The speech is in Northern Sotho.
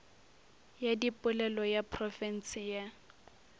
ya dipolelo ya profense ya